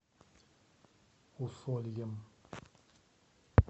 усольем